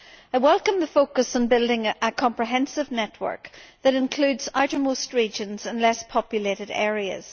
I welcome the focus on building a comprehensive network that includes outermost regions and less populated areas.